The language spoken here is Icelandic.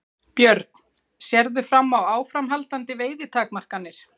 Björn: Sérðu fram á áframhaldandi veiðitakmarkanir?